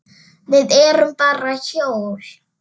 Við erum bara hjól.